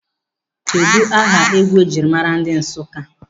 Kedụ aha egwu ejiri maara ndị Nsụka?